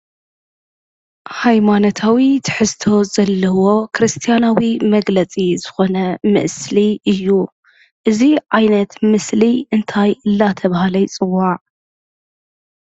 ሃይማነታዊ ትሕዝቶ ዘለዎ ክርስትያናዊ መግለፂ ዝኾነ ምስሊ እዩ። እዚ ዓይነት ምስሊ እንታይ እንዳተባሃለ ይፅዋዕ ?